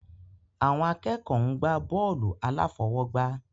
Àwọn akẹ́kọ̀ọ́ ń gbá bọ́ọ̀lù aláfọwọ́gbá